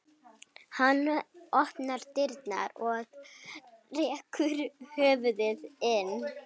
Hann opnar dyrnar og rekur höfuðið inn.